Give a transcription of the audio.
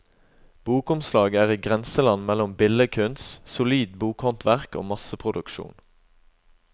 Bokomslag er i grenseland mellom billedkunst, solid bokhåndverk og masseproduksjon.